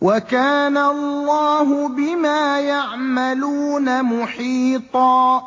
وَكَانَ اللَّهُ بِمَا يَعْمَلُونَ مُحِيطًا